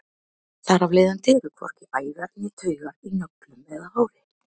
þar af leiðandi eru hvorki æðar né taugar í nöglum eða hári